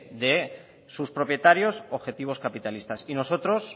de sus propietarios objetivo capitalistas y nosotros